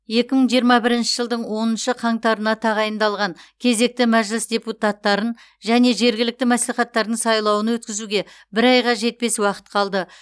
екі мың жиырма бірінші жылдың оныншы қаңтарына тағайындалған кезекті мәжіліс депутаттарын және жергілікті мәслихаттардың сайлауын өткізуге бір айға жетпес уақыт қалды